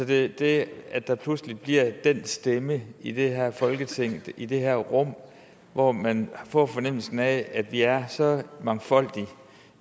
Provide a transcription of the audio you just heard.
det er det at der pludselig bliver den stemme i det her folketing i det her rum hvor man får fornemmelsen af at vi er så mangfoldige